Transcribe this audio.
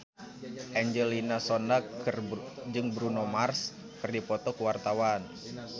Angelina Sondakh jeung Bruno Mars keur dipoto ku wartawan